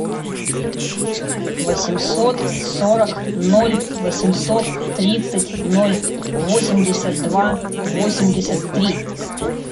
восемьсот сорок ноль восемьсот тридцать ноль восемьдесят два восемьдесят три